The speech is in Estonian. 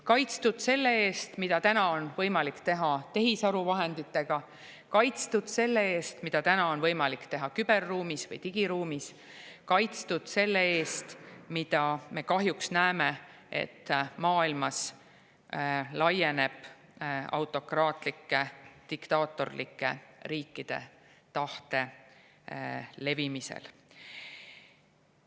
Kaitstud selle eest, mida täna on võimalik teha tehisaru vahenditega, kaitstud selle eest, mida täna on võimalik teha küberruumis või digiruumis, kaitstud autokraatlike diktaatorlike riikide tahte levimise eest, mis, nagu me kahjuks näeme, maailmas laieneb.